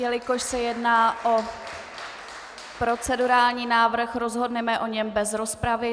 Jelikož se jedná o procedurální návrh, rozhodneme o něm bez rozpravy.